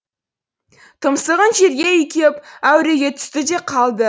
тұмсығын жерге үйкеп әуреге түсті де қалды